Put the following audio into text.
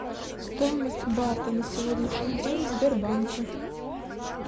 стоимость бата на сегодняшний день в сбербанке